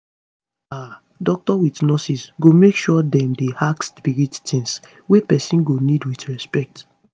aah doctors with nurses go make sure dem dey ask spirit tings wey pesin go need with respect